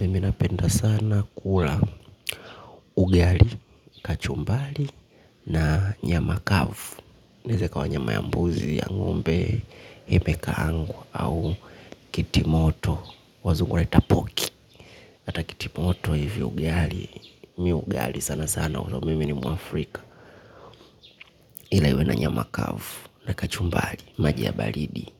Mimi napenda sana kula ugali, kachumbari na nyama kavu. Neze kwa nyama ya mbuzi ya ngombe, nimeka pangu au kitimoto wazungu wanaita poki. Ata kitimoto hivyo ugali, mimi ugali sana sana huwa mimi ni mwafrika. Inaliwa na nyama kavu na kachumbari maji baridi